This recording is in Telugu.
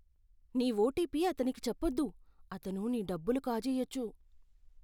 నీ ఓటిపి అతనికి చెప్పొద్దు. అతను నీ డబ్బులు కాజేయొచ్చు.